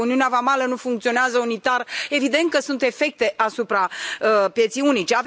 Dacă uniunea vamală nu funcționează unitar, evident că sunt efecte asupra pieței unice.